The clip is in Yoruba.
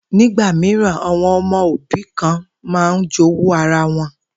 Nígbà mìíràn, àwo̩n o̩mo̩ òbí kan máa n jowú ara wo̩n